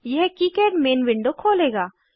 यह KiCad main window खोलेगा